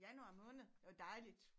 Januar måned det var dejligt